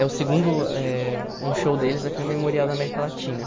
É o segundo eh... Um show deles aqui no Memorial da América Latina.